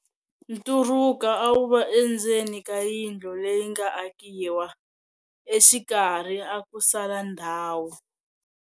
Nturuka a wu va endzeni ka yindlu leyi nga akiwa, exikarhi a ku sala ndhawu.